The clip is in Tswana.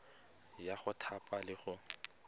ya go thapa le go